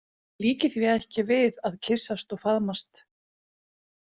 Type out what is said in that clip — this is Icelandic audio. Ég líki því ekki við að kyssast og faðmast.